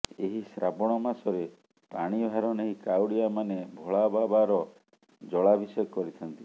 ଏହି ଶ୍ରାବଣ ମାସରେ ପାଣିଭାର ନେଇ କାଉଡିଆ ମାନେ ଭୋଳାବାବାର ଜଳାଭିଷେକ କରିଥାନ୍ତି